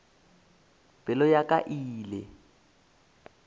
pelo ya ka e ile